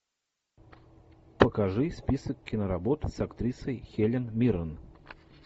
покажи список киноработ с актрисой хелен миррен